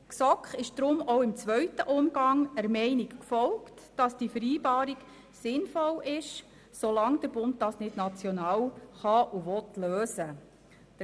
Die GSoK ist deshalb auch im zweiten Umgang der Meinung gefolgt, dass diese Vereinbarung sinnvoll ist, solange der Bund dies nicht national lösen kann und will.